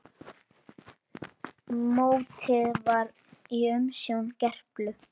Mótið var í umsjón Gerplu.